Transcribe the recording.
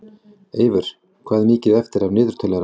Eyvör, hvað er mikið eftir af niðurteljaranum?